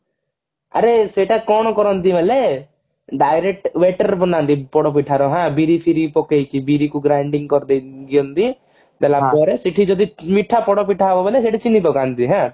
ଆରେ ସେଟା କଣ କରନ୍ତି ବେଲେ direct batter ବନାନ୍ତି ପୋଡପିଠା ର ହଁ ବିରି ଫିରି ପକେଇକି ବିରି କୁ grinding କରିଦେଇକି ରଖିଦିଅନ୍ତି ଦେଲା ପରେ ସେଠି ଯଦି ମିଠା ପୋଡପିଠା ହବ ବେଲେ ସେଠି ଚିନି ପକାନ୍ତି ହାଁ